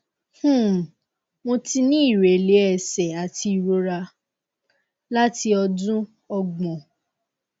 um mo ti ní ìrẹlẹ ẹsẹ àti ìrora láti odun ogbon